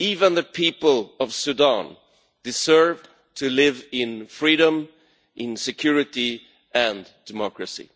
The people of Sudan too deserve to live in freedom, in security and democracy.